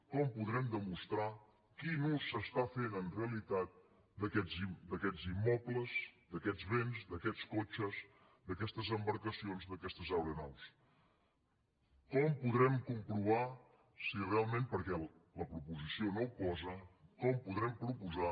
com podrem demostrar quin ús s’està fent en realitat d’aquests immobles d’aquests béns d’aquests cotxes d’aquestes embarcacions d’aquestes aeronaus com podrem comprovar si realment perquè la proposició no ho posa